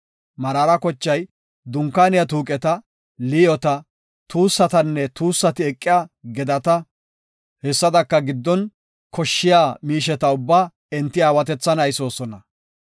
Meraara kochay Dunkaaniya tuuqeta, liyoota, tuussatanne tuussati eqiya gedata, hessadaka giddon koshshiya miisheta ubbaa enti aawatethan aysoosona.